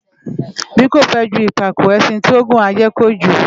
Bí kò fę ju ìpàkó, ęşin tí ó ngùn á ję kojū